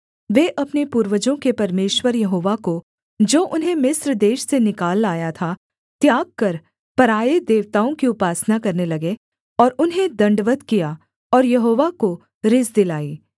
वे अपने पूर्वजों के परमेश्वर यहोवा को जो उन्हें मिस्र देश से निकाल लाया था त्याग कर पराए देवताओं की उपासना करने लगे और उन्हें दण्डवत् किया और यहोवा को रिस दिलाई